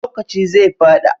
Lokaci zai fada